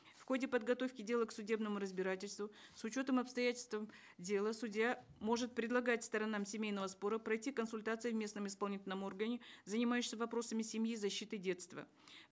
в ходе подготовки дела к судебному разбирательству с учетом обстоятельств дела судья может предлагать сторонам семейного спора пройти консультации в местном исполнительном органе занимающимся вопросами семьи защиты детства